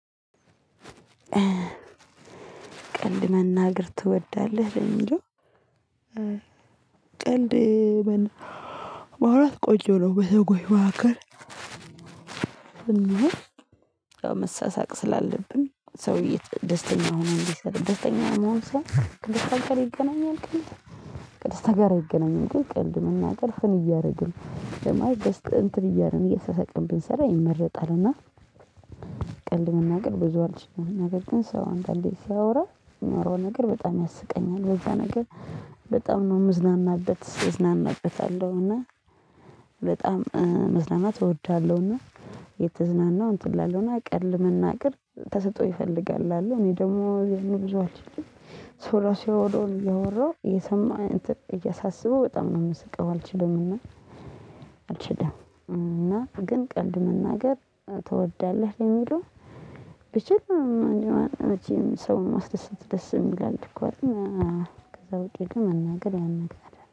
ቀልድ መናገር ትወዳለህ ለሚለው? ቀልድ ማውራት ቆጆ ነው በሰወች መካከል እና መሰሳቅ ስላለብን ሰውዬ ደስተኛ ሆኖ ደስተኛ መሆን ሰው ቅድስት አገር ይገናኛል ቅድስት አገር አይገናኝም። ቀልድ መናገር ፍን እያደረግን ያ መለትሽ እንትን እያልን እያሰቃቅን ብንሰራ ይመረጣልና። ቀልድ መናገር ብዙ አልችልም። ነገር ግን ሰው አንዳንዴ ሲያወራ የሚያወራው ነገር በጣም ያስቀኛል በዛ ነገር በጣም ነው ምዝናናበት እዝናናበታለሁ። እና በጣም መዝናናት እወዳለሁ። እና የተዝናናው እንትን ላለው ቀልድ መናገር ተሰጦኦ ይፈልጋል እላለው። እኔ ደግሞ የያን ብዙ አልችልም። ሰው ራሱ ያወራውን እያወራሁ እየሰማሁ እያሳሰበው በጣም ነው የምስቀው አልችልም። እና አልችልም እና ግን ቀልድ መናገር ትወዳለህ የለሚለው? ብችል ሰው ማስደሰት ደስ የሚልአል። እኮ ግን ከዛ ውጪ ግን መናገር ያን አልፈልግም